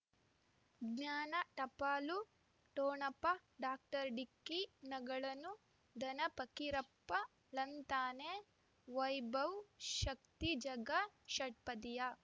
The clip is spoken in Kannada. ಜ್ಞಾನ ಟಪಾಲು ಠೊಣಪ ಡಾಕ್ಟರ್ ಢಿಕ್ಕಿ ಣಗಳನು ಧನ ಫಕೀರಪ್ಪ ಳಂತಾನೆ ವೈಭವ್ ಶಕ್ತಿ ಝಗಾ ಷಟ್ಪದಿಯ